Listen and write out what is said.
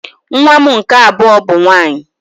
Nwa m nke abụọ bụ nwaanyị